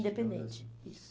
Independente, isso.